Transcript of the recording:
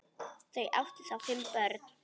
Þau áttu þá fimm börn.